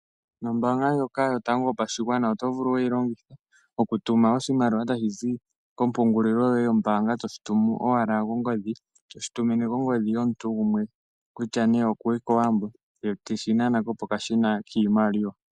Ombaanga ndjoka yotango yopashigwana oto vulu wuyi longithe okutuma oshimaliwa tashi zi komapungulilo yoye yombaanga, toshi toshi tumu owala kongodhi. To shi tumine kongodhi yomuntu gumwe, kutya nee okuli kOwambo ye teshi nana ko kokashina kiimaliwa.